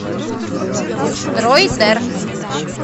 дройдер